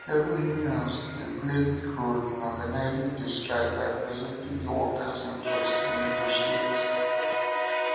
labor unions dey play big role in organizing di strike by presenting di workers interests and negotiate